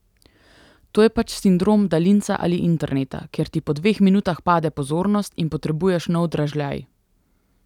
To je pač sindrom daljinca ali interneta, kjer ti po dveh minutah pade pozornost in potrebuješ nov dražljaj.